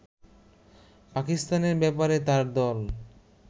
পাকিস্তানের ব্যাপারে তার দল